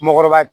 Mɔɔkɔrɔba